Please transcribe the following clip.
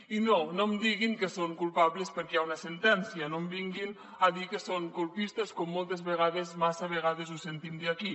i no no em diguin que són culpables perquè hi ha una sentència no em vinguin a dir que són colpistes com moltes vegades massa vegada ho sentim aquí